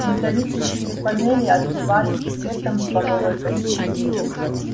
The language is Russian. металлические панели отливали цветом слоновой кости